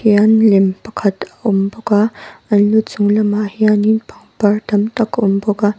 hian lem pakhat a awm bawk a an lu chung lamah hianin pangpar tam tak a awm bawk.